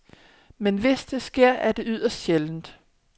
Men hvis det sker, er det yderst sjældent.